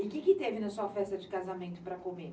E o que teve na sua festa de casamento para comer?